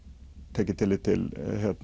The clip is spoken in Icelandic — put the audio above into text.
tekið er tillit til